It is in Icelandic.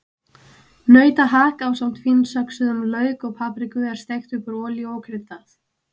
Nautahakk ásamt fínsöxuðum lauk og papriku er steikt upp úr olíu og kryddað.